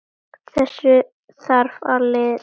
Þessu þarf að linna.